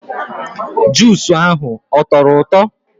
Jusu ahụ ọ tọrọ ụtọ?